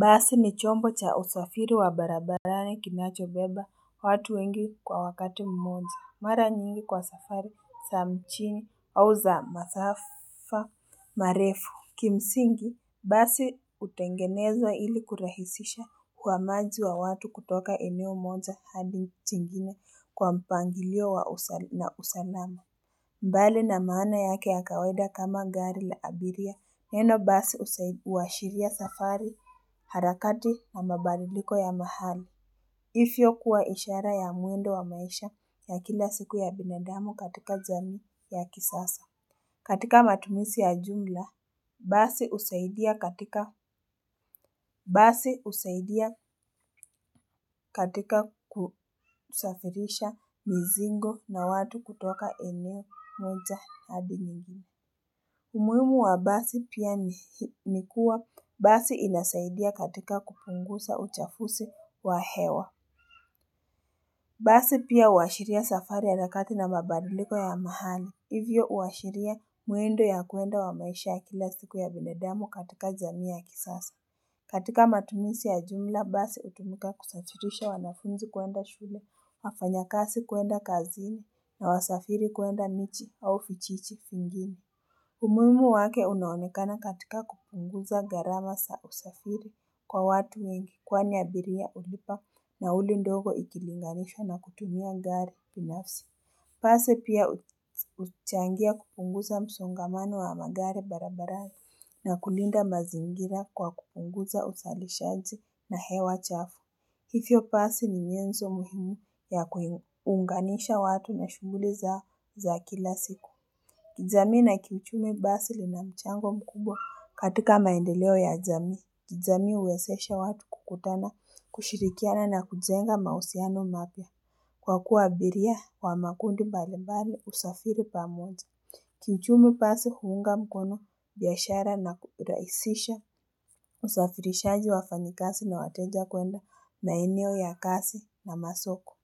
Basi ni chombo cha usafiri wa barabarani kinachobeba watu wengi kwa wakati mmoja mara nyingi kwa safari sa mchini au za masafa marefu Kimsingi basi utengenezwa ili kurahisisha huamaji wa watu kutoka eneo moja hadi chengine kwa mpangilio na usalama mbali na maana yake ya kawaida kama gari la abiria neno basi uwashiria safari harakati na mabariliko ya mahali. Ifyo kuwa ishara ya muendo wa maisha ya kila siku ya binadamu katika jamii ya kisasa. Katika matumisi ya jumla, basi usaidia katika kusafirisha mizingo na watu kutoka eneo moja adi mengine. Umuimu wa basi pia ni kua basi inasaidia katika kupungusa uchafusi wa hewa. Basi pia uwashiria safari harakati na mabadiliko ya mahali. Hivyo uwashiria muendo ya kuenda wa maisha ya kila siku ya binadamu katika jamii ya kisasa. Katika matumisi ya jumla basi utumika kusafirisha wanafunzi kuenda shule, wafanyakasi kuenda kazini na wasafiri kuenda michi au fichichi finding. Umuimu wake unaonekana katika kupunguza gharama sa usafiri kwa watu wengi kwani abiria ulipa nauli ndogo ikilinganishwa na kutumia gari pinafsi. Pasi pia uchangia kupunguza msongamano wa magari barabara na kulinda mazingira kwa kupunguza usalishaji na hewa chafu. Hifyo pasi ni nyenzo muhimu ya kuunganisha watu na shughuli zao za kila siku. Kijamii na kiuchumi basi lina mchango mkubwa katika maendeleo ya jamii. Kijamii uwesesha watu kukutana, kushirikiana na kujenga mausiano mapya. Kwa kuwa abiria wa makundi mbalimbali usafiri pamoja. Kiuchumi basi huunga mkono biashara na kuraisisha usafirishaji wafanyikasi na wateja kuenda maeneo ya kasi na masoko.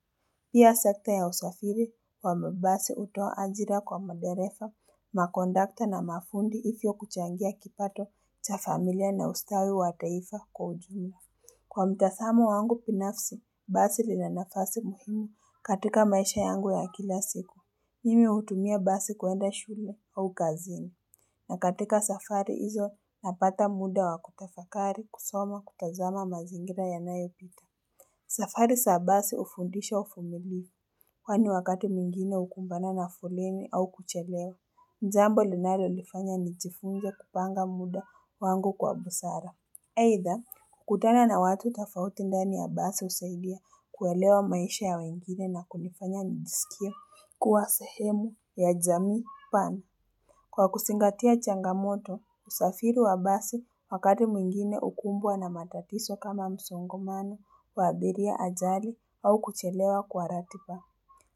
Pia sekta ya usafiri wa mabasi utoa ajira kwa maderefa, makondakta na mafundi ifio kuchangia kipato cha familia na ustawi wa taifa kwa ujumla. Kwa mtasamo wangu pinafsi, basi lina nafasi muhimu katika maisha yangu ya kila siku. Mimi utumia basi kuenda shule au kazini. Na katika safari hizo napata muda wa kutafakari kusoma kutazama mazingira yanayopita. Safari sa basi ufundisha ufumilivu, kwani wakati mwingine ukumbana na foleni au kuchelewa. Zambo linali ulifanya nijifunze kupanga muda wangu kwa busara. Aidha, kukutana na watu tafauti ndani ya basi husaidia kuelewa maisha ya wengine na kunifanya nijisikie kuwa sehemu ya jamii pana. Kwa kusingatia changamoto, usafiri wa basi wakati mwingine ukumbwa na matatiso kama msongomano wa abiria ajali au kuchelewa kwa ratiba.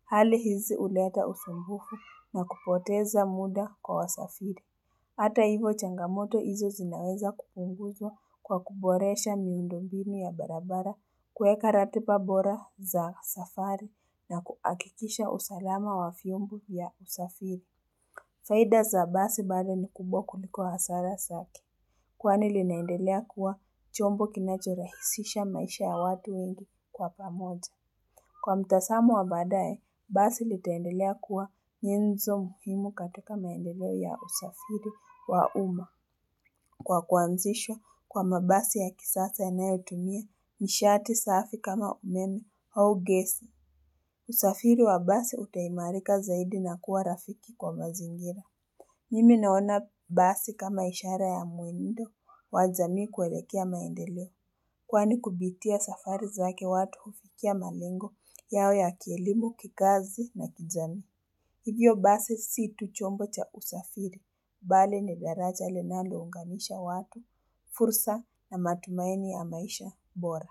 Hali hizi uleta usumbufu na kupoteza muda kwa wasafiri. Hata hivo changamoto hizo zinaweza kupunguzwa kwa kuboresha miundombinu ya barabara kueka ratiba bora za safari na kuakikisha usalama wa fiombo vya usafiri. Faida za basi bali ni kubwa kuliko hasara sake. Kwani linaendelea kuwa chombo kinachorahisisha maisha ya watu wengi kwa pamoja. Kwa mtasamo wa baadaye, basi litaendelea kuwa nyenzo muhimu katika maendeleo ya usafiri wa uma. Kwa kuanzishwa kwa mabasi ya kisasa yanayotumia nishati safi kama umeme au gesi. Usafiri wa basi utaimarika zaidi na kuwa rafiki kwa mazingira. Mimi naona basi kama ishara ya muendo wa jamii kuelekea maendeleo. Kwani kupitia safari zake watu hufikia malengo yao ya kielimu kikazi na kijamii. Hivyo basi si tu chombo cha usafiri. Bali ni daraja linaunganisha watu, fursa na matumaini ya maisha bora.